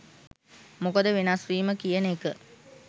මොකද වෙනස්වීම කියන එක